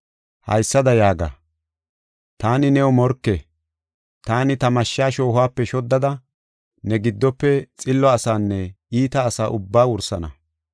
Haysada yaaga: ‘Taani new morke. Taani ta mashsha shoohuwape shoddada, ne gidope xillo asaanne iita asa ubbaa wursana.